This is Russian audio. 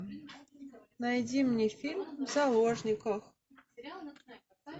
найди мне фильм в заложниках